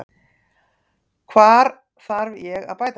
Hvar þarf ég að bæta mig?